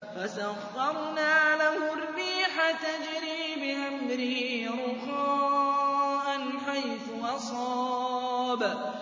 فَسَخَّرْنَا لَهُ الرِّيحَ تَجْرِي بِأَمْرِهِ رُخَاءً حَيْثُ أَصَابَ